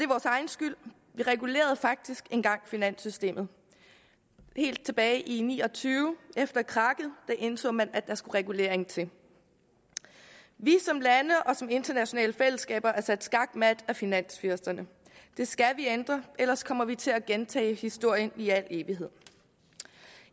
vores egen skyld vi regulerede faktisk engang finanssystemet helt tilbage i nitten ni og tyve efter krakket indså man at der skulle regulering til vi er som lande og som internationale fællesskaber sat skakmat af finansfyrsterne det skal vi ændre ellers kommer vi til at gentage historien i al evighed